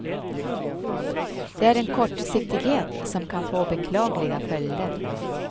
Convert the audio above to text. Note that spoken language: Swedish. Det är en kortsiktighet som kan få beklagliga följder för oss.